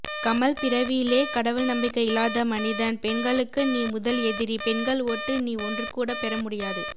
கமல் பிறவியிலே கடவுள் நம்பிக்கை இல்லாதமனிதன் பெண்களுக்கு நீ முதல் எதிரி பெண்கள் ஓட்டு நீ ஒன்றுகூட பெறமுடியாது